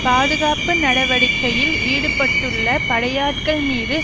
பாதுகாப்பு நடவடிக்கையில் ஈடுபட்டுள்ள படையாட்கள் மீது